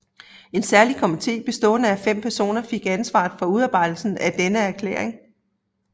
En særlig komité bestående af fem personer fik ansvaret for udarbejdelse af denne erklæring